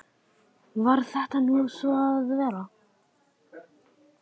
Varð þetta nú svo að vera.